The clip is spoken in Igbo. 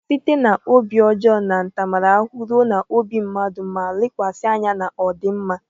Site na obi ọjọọ na ntaramahụhụ ruo n'obi mmadụ ma lekwasị anya na ọdịmma.